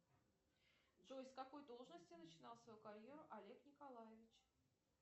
джой с какой должности начинал свою карьеру олег николаевич